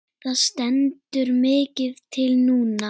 Það stendur mikið til núna.